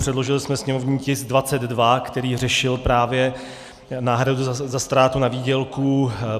Předložili jsme sněmovní tisk 22, který řešil právě náhradu za ztrátu na výdělku.